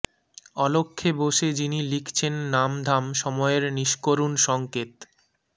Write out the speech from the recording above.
অলখ্যে বসে যিনি লিখছেন নাম ধাম সময়ের নিষ্করুণ সঙ্কেত